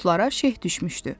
Otlara şeh düşmüşdü.